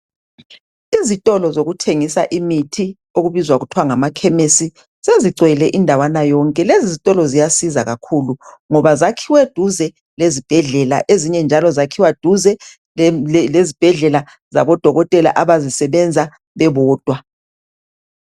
Izitolo zokuthengisa imithi okubizwa kuthiwa ngama khemesi sezigcwele indawana yonke .Lezi zitolo ziyasiza kakhulu ngoba zakhiwe duze lezibhedlela .Ezinye njalo zakhiwa duze lezibhedlela zabo dokotela abazisebenza bebodwa .